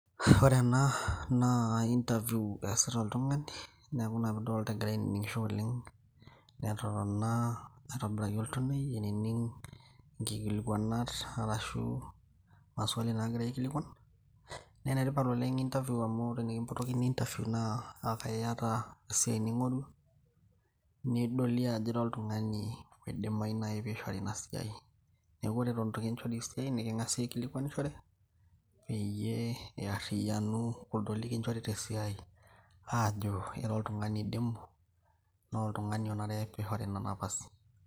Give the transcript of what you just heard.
ore ena naa interview eesita oltung'ani neeku ina piidolta egira ainining'isho oleng netotona aitobiraki oltonei ainining nkikilikuanat arashu maswali nagirae aikilikuan naa enetipat oleng interview amu tenikimpotokini interview naa akaiyata esiai ning'orua nedoli ajo ira oltung'ani oidimai naaji pishori ina siai neeku ore eto itu kinchori esiai niking'asi aikilikuanishore peyie earriyianu kuldo likinchorita esiai ajo ira oltung'ani oidimu naa oltung'ani onare pishori ina napasi.